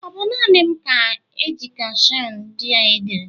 Ọ bụ naanị m ka ejekishon ndị a diri?